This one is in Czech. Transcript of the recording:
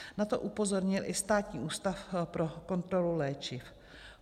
Na to upozornil i Státní ústav pro kontrolu léčiv.